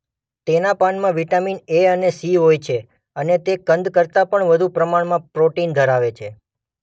તેના પાનમાં vitamin A અને સી હોય છે અને તે કંદ કરતા વધુ પ્રમાણમાં પ્રોટિન ધરાવે છે.